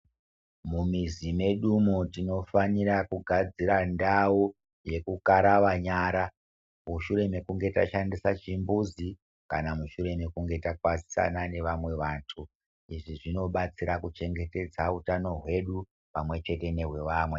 Mumizi medumo tinofanire kugadzire ndau yekukarawa nyara mushure mekunge tashandisa chimbuzi kana mushure mekunge takwazisana nevamwe vantu, izvi zvinodetsera kuchengetedza utano hwedu pamwechete nehwevamwe.